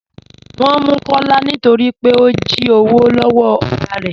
Wọn mú Kọlá nítorí pé ó jí òwò lọwọ́ ọ̀gá rẹ.